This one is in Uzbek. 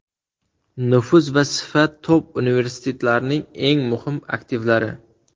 Nufuz va sifat top universitetlarning eng muhim aktivlari!